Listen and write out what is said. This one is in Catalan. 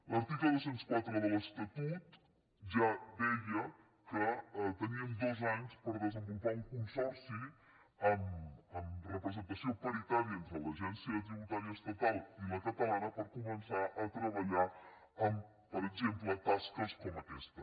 l’article dos cents i quatre de l’estatut ja deia que teníem dos anys per desenvolupar un consorci amb representació pari·tària entre l’agència tributària estatal i la catalana per començar a treballar en per exemple tasques com aquesta